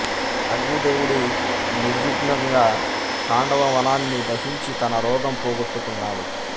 అగ్ని దేవుడు నిర్విఘ్నంగా ఖాండవ వనాన్ని దహించి తన రోగం పోగొట్టుకున్నాడు